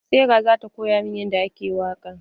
Serah za ta koya min yadda ake waƙa.